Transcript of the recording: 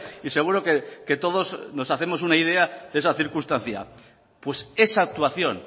y seguro que todos nos hacemos una idea de esa circunstancia pues esa actuación